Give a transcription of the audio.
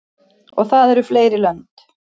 Og það eru fleiri lönd.